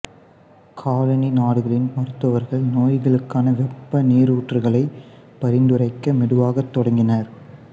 colony நாடுகளின் மருத்துவர்கள் நோய்களுக்கான வெப்ப நீரூற்றுகளை பரிந்துரைக்க மெதுவாகத் தொடங்கினர்